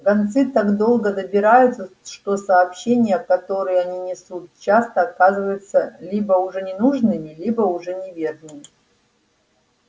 гонцы так долго добираются что сообщения которые они несут часто оказываются либо уже ненужными либо уже неверными